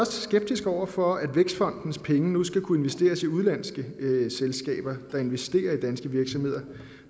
skeptiske over for at vækstfondens penge nu skal kunne investeres i udenlandske selskaber der investerer i danske virksomheder